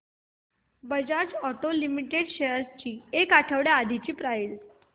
Bajaj auto limited shares ची एक आठवड्या आधीची प्राइस